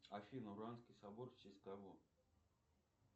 афина собор в честь кого